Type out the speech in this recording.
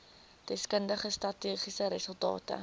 deskundige statistiese resultate